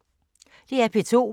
DR P2